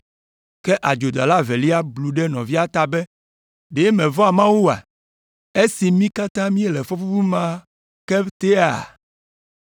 Ke adzodala evelia blu ɖe nɔvia ta be, “Ɖe mevɔ̃a Mawu oa, esi mí katã míele fɔbubu ma ke tea?